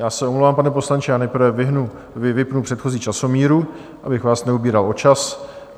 Já se omlouvám, pane poslanče, já nejprve vypnu předchozí časomíru, abych vás neobíral o čas.